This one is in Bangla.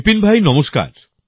বিপিন ভাই নমস্কার